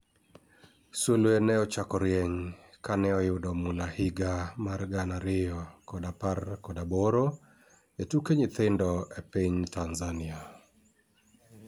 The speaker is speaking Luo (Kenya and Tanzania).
sulwe ne ne ochako rieny kane oyudo mula higa mar gana ariyo kod apar kod aboro e tuke nyithindo e piny Tanzania